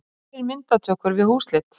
Kærir myndatökur við húsleit